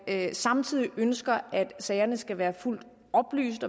det samtidig ønskes at sagerne skal være fuldt oplyst